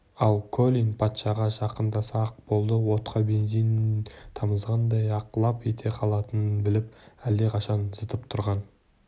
ал колин патшаға жақындаса-ақ болды отқа бензин тамызғандай-ақ лап ете қалатынын біліп әлдеқашан зытып тұрған